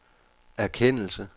erkendelse